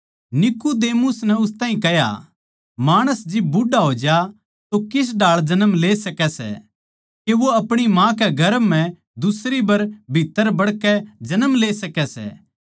नीकुदेमुस नै उस ताहीं कह्या माणस जिब बुढ़ा होज्या तो किस ढाळ जन्म ले सकै सै के वो अपणी माँ कै गर्भ म्ह दुसरी बर भीत्त्तर बड़कै जन्म ले सकै सै